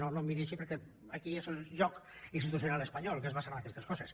no no em miri així perquè aquí és el joc institucional espanyol que es basa en aquestes coses